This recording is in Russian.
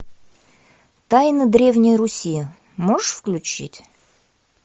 тайна древней руси можешь включить